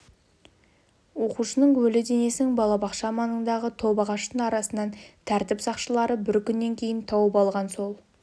оқушының өлі денесін балабақша маңындағы топ ағаштың арасынан тәртіп сақшылары бір күннен кейін тауып алған сол